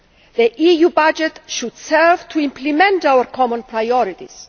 The EU budget should serve to implement our common priorities.